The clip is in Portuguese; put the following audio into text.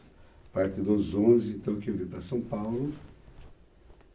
A partir dos onze, então, que eu vim para São Paulo.